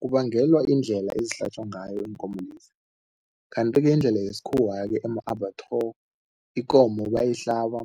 Kubangelwa yindlela ezihlatjwa ngayo iinkomo lezi. Kanti-ke indlela yesikhuwa-ke ikomo bayayihlaba